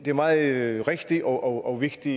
meget rigtig og vigtig